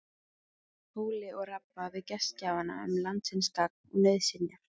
Hóli og rabba við gestgjafana um landsins gagn og nauðsynjar.